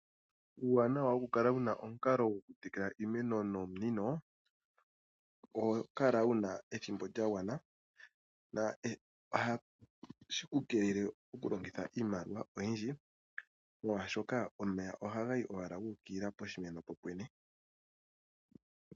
Uuwanawa woku kala wuna omukalo gwo ku tekela iimeno nonunio, oho kala wu na ethimbo lya gwana, noha shi ku keelele oku longitha iimaliwa oyindji, molwaashoka omeya oha ga yi owala gu ukilila poshimeno popwene.